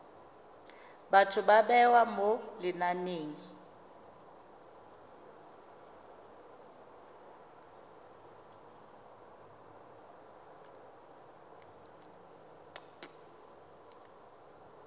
batho ba bewa mo lenaneng